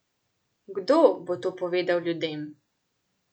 Kdo bo to povedal ljudem?